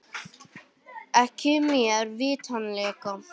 Ekki mér vitanlega